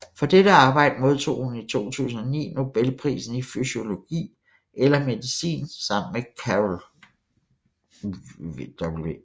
For dette arbejde modtog hun i 2009 Nobelprisen i fysiologi eller medicin sammen med Carol W